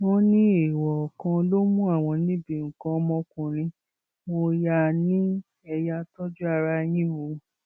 wọn ní èèwọ kan ló mú àwọn níbi nǹkan ọmọkùnrin mọ ni ẹ yáa tọjú ara yín o